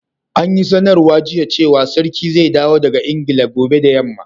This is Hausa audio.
An yi sanarwa jiya cewa sarkin zai dawo daga Ingila gobe da yamma.